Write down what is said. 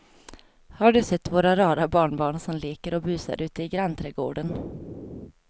Har du sett våra rara barnbarn som leker och busar ute i grannträdgården!